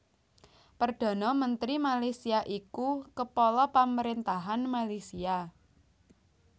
Perdhana Mentri Malaysia iku kepala pamaréntahan Malaysia